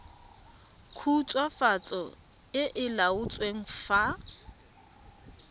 khutswafatso e e laotsweng fa